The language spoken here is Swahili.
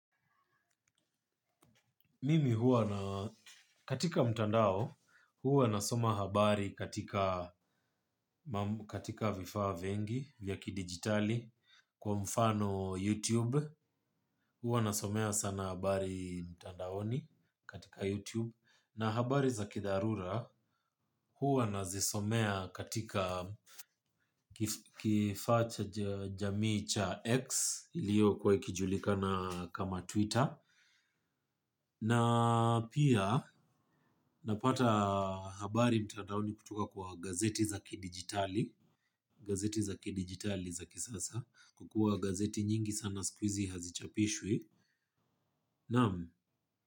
Mimi huwa na katika mtandao huwa nasoma habari katika vifaa vengi vya ki digitali kwa mfano YouTube huwa nasomea sana habari mtandaoni katika YouTube na habari za kidharura huwa nazisomea katika kifacha jamii cha X liyo kwa ikijulikana kama Twitter. Na pia napata habari mtandaoni kutoka kwa gazeti za kidigitali. Gazeti za kidigitali za kisasa. Kukua gazeti nyingi sana squeezy hazichapishwe Namu.